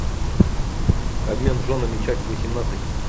обмен женами часть восемнадцать